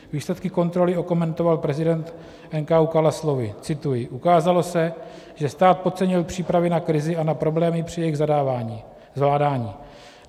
Výsledky kontroly okomentoval prezident NKÚ Kala slovy - cituji: "Ukázalo se, že stát podcenil přípravy na krizi a na problémy při jejich zvládání.